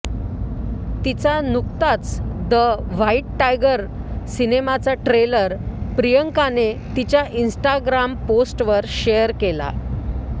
तिचा नुकताच the white tiger सिनेमाचा ट्रेलर प्रियांकाने तिच्या इन्स्टाग्राम पोस्टवर शेअर केला